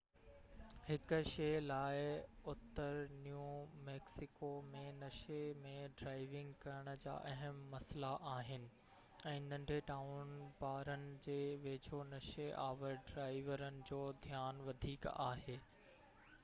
هڪ شيءَ لاءِ اتر نيو ميڪسيڪو ۾ نشي ۾ ڊرائيونگ ڪرڻ جا اهم مسئلا آهن ۽ ننڍي ٽائون بارن جي ويجهو نشي آور ڊرائيورن جو ڌيان وڌيڪ آهي